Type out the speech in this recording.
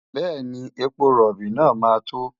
Bẹ́ẹ̀ni, epo rọ̀bì náà máa tó.